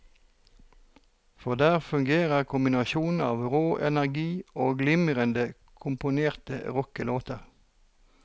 For der fungerer kombinasjonen av rå energi og glimrende komponerte rockelåter.